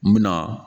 N bɛna